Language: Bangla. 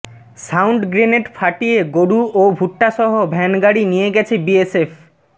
সাউন্ড গ্রেনেড ফাটিয়ে গরু ও ভুট্টাসহ ভ্যানগাড়ি নিয়ে গেছে বিএসএফ